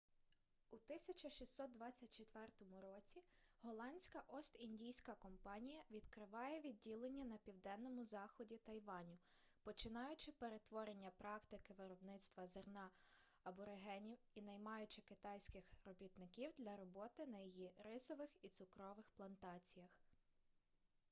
у 1624 році голландська ост-індійська компанія відкриває відділення на південному заході тайваню починаючи перетворення практики виробництва зерна аборигенів й наймаючи китайських робітників для роботи на її рисових і цукрових плантаціях